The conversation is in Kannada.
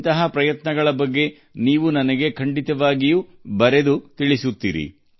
ಅಂತಹ ಪ್ರಯತ್ನಗಳ ಬಗ್ಗೆ ನೀವು ನನಗೆ ಬರೆಯುತ್ತಲೇ ಇರಿ